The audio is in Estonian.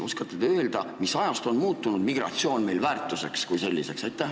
Oskate te öelda, mis ajast on migratsioon meil muutunud väärtuseks kui selliseks?